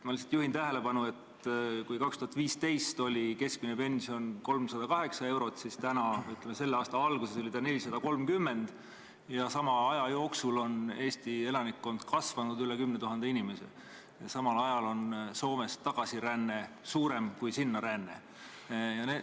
Ma lihtsalt juhin tähelepanu, et kui 2015 oli keskmine pension 308 eurot, siis selle aasta alguses oli see 430 eurot, sama aja jooksul on Eesti elanikkond kasvanud üle 10 000 inimese ja tagasiränne Soomest on suurem kui ränne sinna.